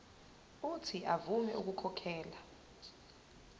uuthi avume ukukhokhela